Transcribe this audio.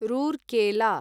Rourkela